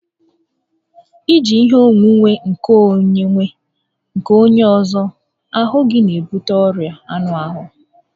I ji ihe onwunwe nkeonwe nke onye ọzọ n'ahụ gị n'ebute ọrịa anụ ahụ